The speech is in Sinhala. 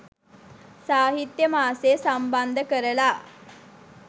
සාහිත්‍ය මාසය සම්බන්ධ කරලා